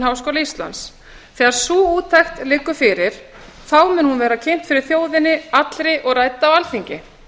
háskóla íslands þegar sú úttekt liggur fyrir verður hún kynnt fyrir þjóðinni allri og rædd á alþingi